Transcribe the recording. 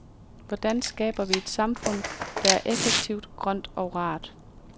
Hvordan skaber vi et samfund, der er effektivt, grønt og rart?